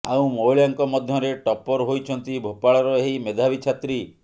ଆଉ ମହିଳାଙ୍କ ମଧ୍ୟରେ ଟପ୍ପର ହୋଇଛନ୍ତି ଭୋପାଳର ଏହି ମେଧାବୀ ଛାତ୍ରୀ